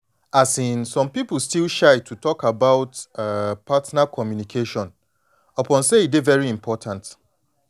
partner communication na something wey everybody suppose dey talk about well well with open mind i no go lie